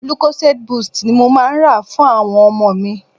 Lucozade boost ni mo máa ń rà fún àwọn ọmọ mi.